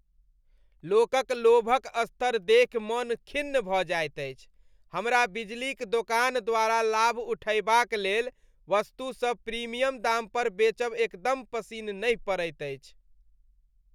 लोकक लोभक स्तर देखि मन खिन्न भऽ जाइत अछि, हमरा बिजलीक दोकान द्वारा लाभ उठयबाक लेल वस्तु सब प्रीमियम दाम पर बेचब एकदम पसिन नहि पड़ैत अछि।